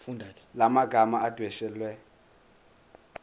la magama adwetshelwe